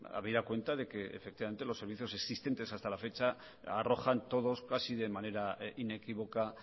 habida cuenta de que efectivamente los servicios existentes hasta la fecha arrojan todos casi de manera inequívoca